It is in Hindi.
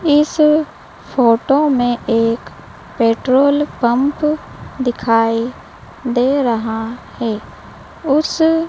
इस फोटो में एक पेट्रोल पंप दिखाई दे रहा है उस--